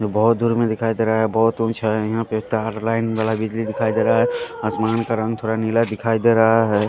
जो बहुत दूर में दिखाई दे रहा है बहुत ऊंचाईयां पे तार लाइन वाला बिजली दिखाई दे रहा है आसमान का रंग थोड़ा नीला दिखाई दे रहा है।